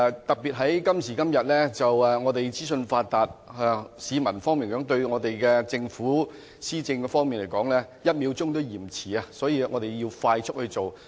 特別在今時今日資訊發達，市民對政府的施政"一秒都嫌遲"，所以要快速去做。